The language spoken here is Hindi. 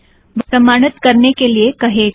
वह प्रमाणित करने के लिए कहेगा